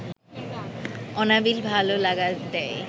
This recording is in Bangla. অনাবিল ভালো লাগা দেয়